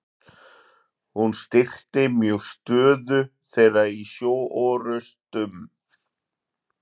hún styrkti mjög stöðu þeirra í sjóorrustum